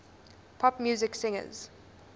pop music singers